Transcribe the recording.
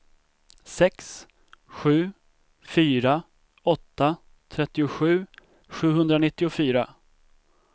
sex sju fyra åtta trettiosju sjuhundranittiofyra